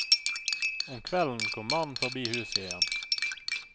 Om kvelden kom mannen forbi huset igjen.